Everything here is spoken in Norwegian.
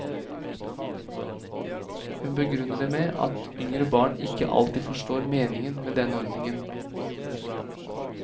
Hun begrunner det med at yngre barn ikke alltid forstår meningen med denne ordningen.